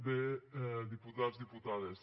bé diputats diputades